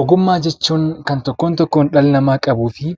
Ogummaa jechuun kan tokkoon tokkoon dhalli namaa qabuu fi